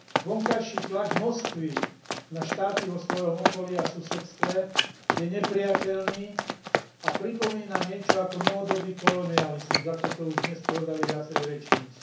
Vonkajší tlak Moskvy na štáty vo svojom okolí a susedstve je neprijateľný a pripomína niečo ako novodobý kolonializmus, ako to už dnes povedali viacerí rečníci.